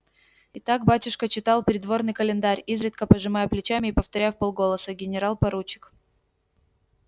итак батюшка читал придворный календарь изредка пожимая плечами и повторяя вполголоса генерал-поручик